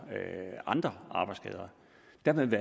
andre arbejdsskader dermed